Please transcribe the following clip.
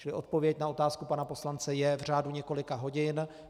Čili odpověď na otázku pana poslance je: v řádu několika hodin.